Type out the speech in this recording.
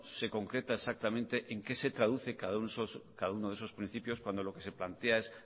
se concreta exactamente en qué se traduce cada uno de esos principios cuando lo que se plantea es